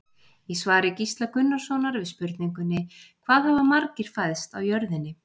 Í svari Gísla Gunnarssonar við spurningunni Hvað hafa margir fæðst á jörðinni?